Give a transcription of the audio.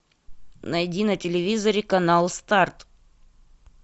найди на телевизоре канал старт